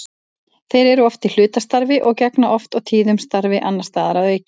Þeir eru oft í hlutastarfi og gegna oft og tíðum starfi annars staðar að auki.